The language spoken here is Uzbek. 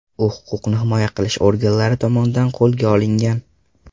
U huquqni himoya qilish organlari tomonidan qo‘lga olingan.